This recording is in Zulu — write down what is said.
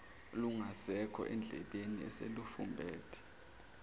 lungasekho endlebeni eselufumbethe